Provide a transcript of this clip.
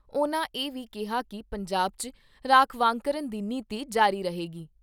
ਉਨ੍ਹਾਂ ਇਹ ਵੀ ਕਿਹਾ ਕਿ ਪੰਜਾਬ 'ਚ ਰਾਖਵਾਂਕਰਨ ਦੀ ਨੀਤੀ ਜਾਰੀ ਰਹੇਗੀ।